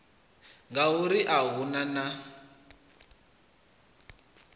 ngauri a hu na na